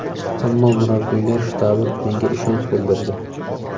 Ammo, murabbiylar shtabi menga ishonch bildirdi.